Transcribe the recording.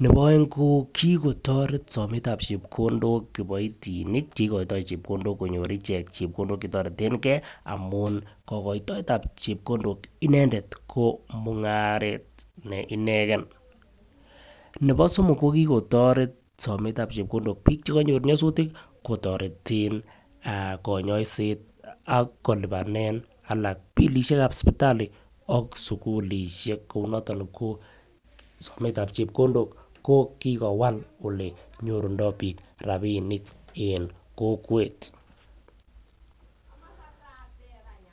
nebo oek kikotoret sometab chepkondok kiboitinik cheikoytoo chepkondok konyor ichek chepkondok chetoretenge amun koykotoetab chepkondok inendet ko mugaret ne inenge, nebo somok kokikotoret chepkondok biik chekonyor nyasutik kotoreten ah konyosiet ak kolipanen alak bilishekab sipitali ak sukulishek kou noton ko sometab chepkondok kokikowal ole nyorundo biik rapinik en kokwet